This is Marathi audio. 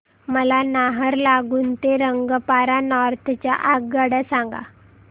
मला नाहरलागुन ते रंगपारा नॉर्थ च्या आगगाड्या सांगा